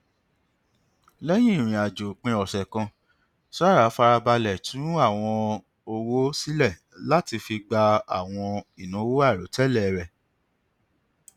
lẹyìn ìrìn àjò òpin ọsẹ kan sarah fara balẹ tún àwọn owó sílẹ láti fi gba àwọn ìnáwó àìròtẹlẹ rẹ